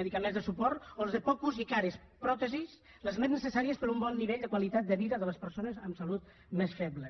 medicaments de suport o les de poc ús i cares pròtesis les més necessàries per a un bon nivell de qualitat de vida de les persones amb salut més feble